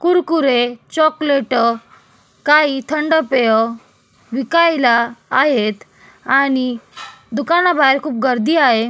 Kurkure chocolate काही थंड पेय विकायला आहेत आणि दुकाना बाहेर खूप गर्दी आहे.